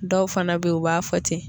Dɔw fana be yen u b'a fɔ ten